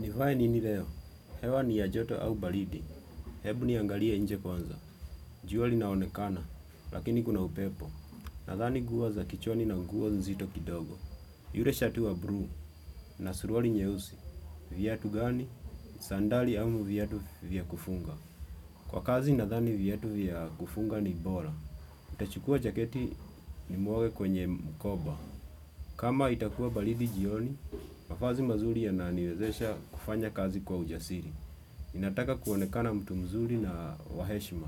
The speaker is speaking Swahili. Nivae nini leo? Hewa ni ya joto au baridi? Hebu niangalie nje kwanza. Jua linaonekana, lakini kuna upepo. Nadhani nguo za kichwani na nguo nzito kidogo. Yure shati wa bru, na suruali nyeusi. Viatu gani? Sandali au viatu vya kufunga. Kwa kazi nadhani viatu vya kufunga ni bora. Nitachukua jaketi nimwage kwenye mkoba. Kama itakua baridi jioni, mavazi mazuri yananiwezesha kufanya kazi kwa ujasiri. Inataka kuonekana mtu mzuri na wa heshima.